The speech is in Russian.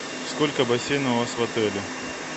сколько бассейнов у вас в отеле